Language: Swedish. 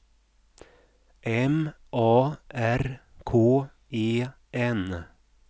M A R K E N